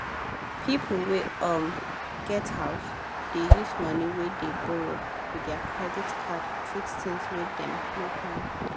people wey um get house dey use money wey dem borrow with their credit card fix things wey dem no plan